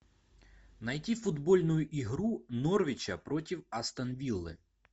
найти футбольную игру норвича против астон виллы